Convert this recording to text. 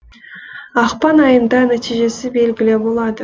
ақпан айында нәтижесі белгілі болады